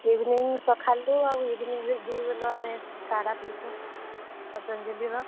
Evening ସଖାଲୁ ଆଉ evening ରେ ଦୁହି ବେଲ ଆମେ କାଡା ପିଇସୁଁ, ପତଞ୍ଜଲି ର।